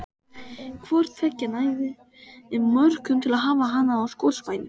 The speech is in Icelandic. Hvort tveggja nægði mörgum til að hafa hana að skotspæni.